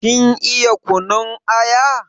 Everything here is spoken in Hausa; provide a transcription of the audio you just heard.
Kin iya kunun aya?